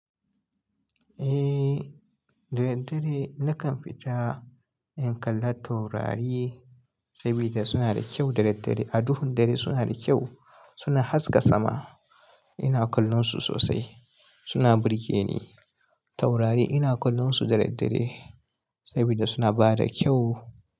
Eh, da daddare nakan fita in kalla taurari sabida suna da kyau da daddare. A duhun dare suna da kyau, suna haska sama. Ina kallon su sosai, suna burge ni. Taurari ina kallon su da daddare sabida suna bada kyau.